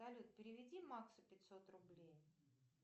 салют переведи максу пятьсот рублей